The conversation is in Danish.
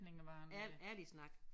Ærlig snak